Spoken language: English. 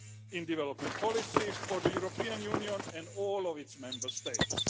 in development policy for the European Union and all its Member States.